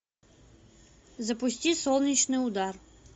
запусти солнечный удар